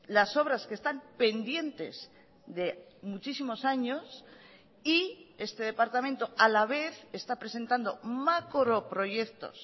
las obras que están pendientes de muchísimos años y este departamento a la vez está presentando macroproyectos